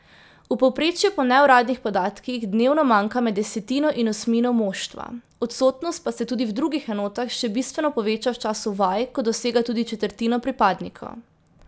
V povprečju po neuradnih podatkih dnevno manjka med desetino in osmino moštva, odsotnost pa se tudi v drugih enotah še bistveno poveča v času vaj, ko dosega tudi četrtino pripadnikov.